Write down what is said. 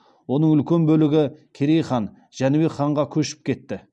оның үлкен бөлігі керей хан жәнібек ханға көшіп кетті